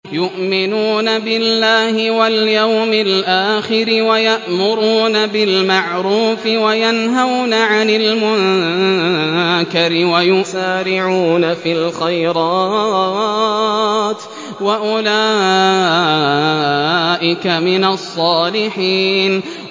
يُؤْمِنُونَ بِاللَّهِ وَالْيَوْمِ الْآخِرِ وَيَأْمُرُونَ بِالْمَعْرُوفِ وَيَنْهَوْنَ عَنِ الْمُنكَرِ وَيُسَارِعُونَ فِي الْخَيْرَاتِ وَأُولَٰئِكَ مِنَ الصَّالِحِينَ